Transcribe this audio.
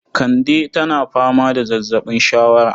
Kande tana fama da zazzaɓin shawara